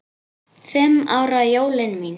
Fimm ára jólin mín.